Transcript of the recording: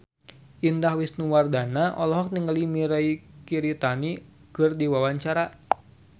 Indah Wisnuwardana olohok ningali Mirei Kiritani keur diwawancara